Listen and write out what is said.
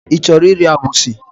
I chọrọ iri abụzị?